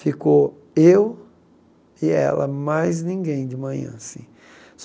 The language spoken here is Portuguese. Ficou eu e ela, mais ninguém de manhã assim.